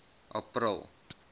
april